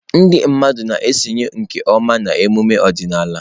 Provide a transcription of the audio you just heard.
Ndị mmadụ na-esonye nke ọma na emume ọdịnala.